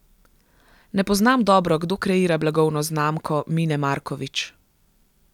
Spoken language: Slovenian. Ne poznam dobro, kdo kreira blagovno znamko Mine Markovič.